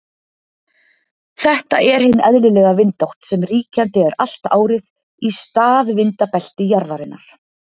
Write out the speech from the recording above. Þetta er hin eðlilega vindátt sem ríkjandi er allt árið í staðvindabelti jarðarinnar.